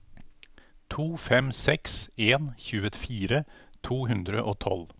to fem seks en tjuefire to hundre og tolv